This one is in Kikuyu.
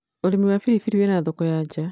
ũrĩmi wa biribiri wĩna thoko ya nja